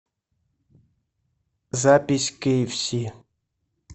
запись кейэфси